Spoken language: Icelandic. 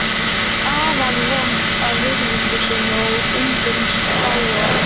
Hún er afar vönd að virðingu sinni og umgengst fáa.